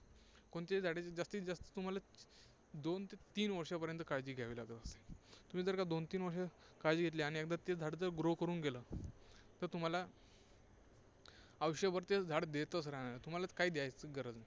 कोणत्याही झाडाची जास्तीत जास्त तुम्हाला दोन ते तीन वर्षांपर्यंत काळजी घ्यावी लागत असते. तुम्ही जर का दोन-तीन वर्षे काळजी घेतली आणि एकदा तेच झाड जर grow करून गेलं, तर तुम्हाला आयुष्यभर तेच झाड देतच राहणार आहे, तुम्हाला काही द्यायची गरज नाही.